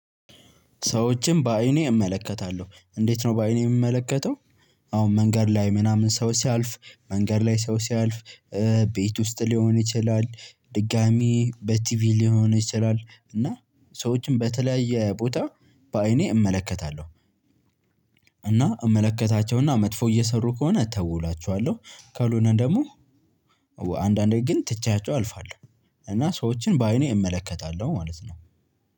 ሰዎችን በአይኔ እመለከታለሁ እንዴት ነው በአይኔ የምመለከተው? አሁን መንገድ ላይ ምናምን ሰው ሲያልፍ መንገድ ላይ ሰው ሲያልፍ ቤት ውስጥ ሊሆን ይችላል ድጋሚ በቲቪ ሊሆን ይችላል እና ሰዎችን በተለያየ ቦታ በአይኔ እመለከታለሁ። እና እመለከታቸውና መጥፎ እየሰሩ ከሆነ ተው እላቸዋለሁ። ካልሆነ ደግሞ አንዳንዴ ግን ትቻቸው አልፋለሁ። እና ሰዎችን በአይኔ እመለከታለሁ ማለት ነው።